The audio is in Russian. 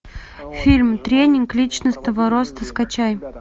фильм тренинг личностного роста скачай